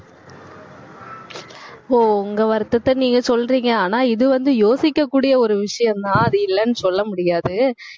ஓ உங்க வருத்தத்தை நீங்க சொல்றீங்க. ஆனா இது வந்து யோசிக்கக்கூடிய ஒரு விஷயம்தான் அது இல்லன்னு சொல்ல முடியாது